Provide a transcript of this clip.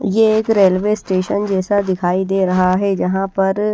ये एक railway station जैसा दिखाई दे रहा है जहां पर--